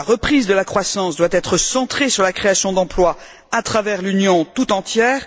La reprise de la croissance doit être centrée sur la création d'emplois à travers l'Union tout entière.